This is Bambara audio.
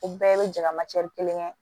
O bɛɛ bɛ jama kelen kɛ